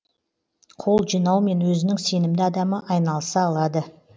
қол жинаумен өзінің сенімді адамы айналыса алады